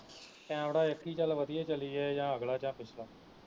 camera ਇਕ ਈ ਚੱਲ ਵਧੀਆ ਚੱਲੀ ਜਾਏ ਚਾਹੇ ਅਗਲਾ ਜਾਂ ਪਿਛਲਾ